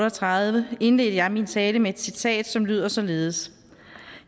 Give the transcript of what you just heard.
og tredive indledte jeg min tale med et citat som lød således